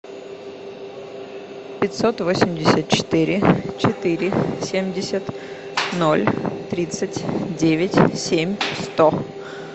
пятьсот восемьдесят четыре четыре семьдесят ноль тридцать девять семь сто